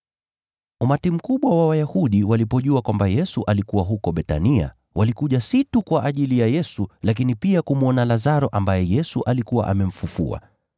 Umati mkubwa wa Wayahudi walipojua kwamba Yesu alikuwa huko Bethania, walikuja si tu kwa ajili ya Yesu, lakini pia kumwona Lazaro ambaye Yesu alikuwa amemfufua.